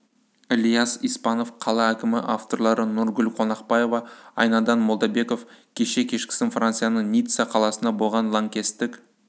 ільяс испанов қала әкімі авторлары нұргүл қонақбаева айнадин молдабеков кеше кешкісін францияның ницца қаласында болған лаңкестік